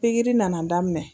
Pigiri nana daminɛ